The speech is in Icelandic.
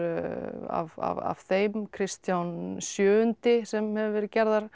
af þeim Kristján sjö sem hafa verið gerðar